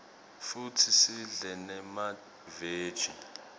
futsi sidle nemaveji